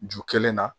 Ju kelen na